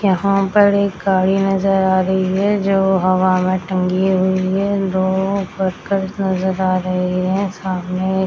यहाँ पर एक गाड़ी नजर आ रही है जो हवा में टंगी हुई है दो वर्करस नजर आ रहे है सामने--